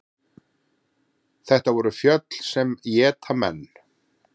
Þetta voru fjöll sem éta menn.